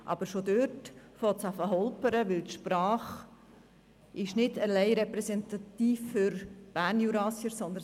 Aber schon dort beginnt es zu holpern, denn die Sprache ist nicht alleine für die Bernjurassier repräsentativ;